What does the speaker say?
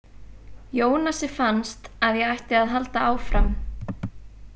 Jónasi fannst að ég ætti að halda áfram.